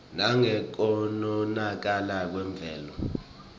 nangekonakala kwemvelo